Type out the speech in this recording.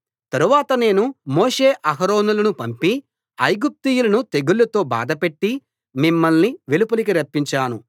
తరువాత నేను మోషే అహరోనులను పంపి ఐగుప్తీయులను తెగుళ్ళతో బాధపెట్టి మిమ్మల్ని వెలుపలికి రప్పించాను